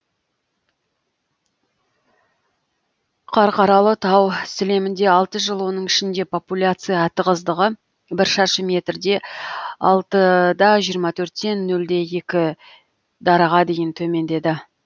қарқаралы тау сілемінде алты жыл оның ішінде популяция тығыздығы бір шаршы метрде алты да жиырма төрттен нөл де екі дараға дейін төмендеді